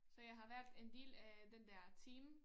Så jeg har været en del af den der team